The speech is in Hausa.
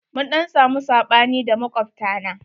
Mun ɗan samu saɓani da makwabta na.